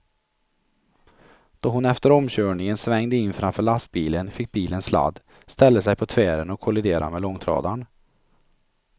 Då hon efter omkörningen svängde in framför lastbilen fick bilen sladd, ställde sig på tvären och kolliderade med långtradaren.